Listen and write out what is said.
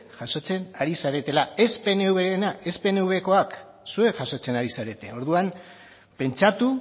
jasotzen ari zaretela ez pnvrenak ez pnvkoak zuek jasotzen ari zarete orduan pentsatu